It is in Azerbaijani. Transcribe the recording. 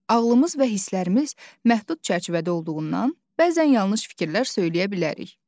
Ağlımız və hisslərimiz məhdud çərçivədə olduğundan, bəzən yanlış fikirlər söyləyə bilərik.